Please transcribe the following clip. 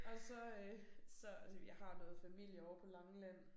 Og så øh så jeg har noget familie ovre på Langeland